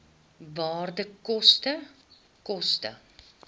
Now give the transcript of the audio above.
waarde koste koste